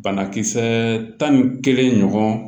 Banakisɛ tan ni kelen ɲɔgɔn